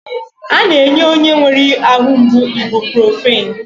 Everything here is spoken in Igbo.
A na-enye onye nwere ahụ mgbu ibuprofin.